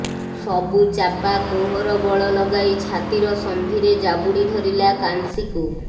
ସବୁ ଚାପା କୋହର ବଳ ଲଗାଇ ଛାତିର ସନ୍ଧିରେ ଜାବୁଡ଼ି ଧରିଲା କାନ୍ସୀକୁ